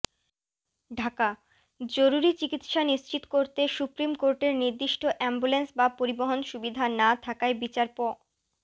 ঢাকাঃ জরুরি চিকিৎসা নিশ্চিত করতে সুপ্রিম কোর্টের নির্দিষ্ট অ্যাম্বুলেন্স বা পরিবহন সুবিধা না থাকায় বিচারপ